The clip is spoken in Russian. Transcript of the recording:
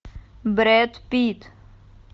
брэд питт